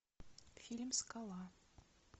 фильм скала